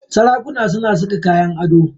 Sarakuna suna saka kayan ado.